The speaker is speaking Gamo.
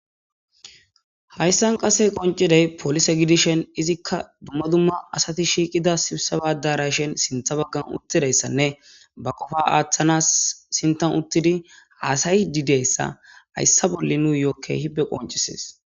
Haysan qase qonciday polise gidishn, izika dumma dumma asati shiiqida sibiseba Daraashen sintha bagan utidaysanne banta Qopa athanasi sinthani utidi hasa'idi diyaysa haysi nuyo Keehi qoncises.